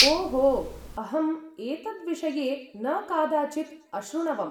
ओहो, अहम् एतद्विषये न कादाचित् अशृणवम्।